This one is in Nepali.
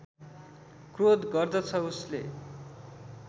क्रोध गर्दछ उसले